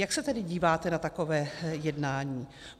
Jak se tedy díváte na takové jednání?